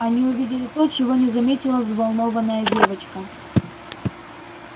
они увидели то чего не заметила взволнованная девочка